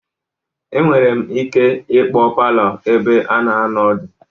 Enwere ike ịkpọ palọ ebe a na-anọ ọdụ.